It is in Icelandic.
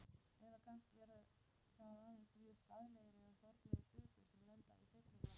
Eða kannski eru það aðeins mjög skaðlegir eða sorglegir hlutir sem lenda í seinni flokknum.